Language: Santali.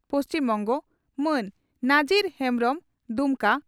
ᱯᱹᱵ) ᱢᱟᱱ ᱱᱟᱡᱤᱨ ᱦᱮᱢᱵᱽᱨᱚᱢ (ᱫᱩᱢᱠᱟ